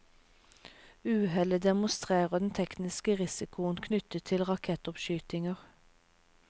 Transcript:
Uhellet demonstrerer den tekniske risikoen knyttet til rakettoppskytinger.